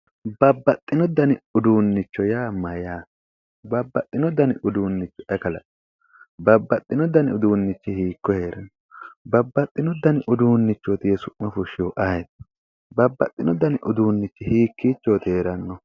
Babbaxino dani uduunnicho Yaa mayaate babbaxino dani uduuncho ayi kalaqi? Babbaxino dani uduunnichi hiikko heeranno babbaxino dani uduuncho yee su'ma fushihu ayiiti? babbaxino dani uduunnichi hiikkiichoti heerannohu